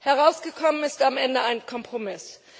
Herausgekommen ist am Ende ein Kompromiss.